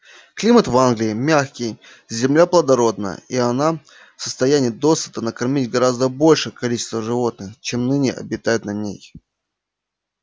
климат в англии мягкий земля плодородна и она в состоянии досыта накормить гораздо большее количество животных чем ныне обитают на ней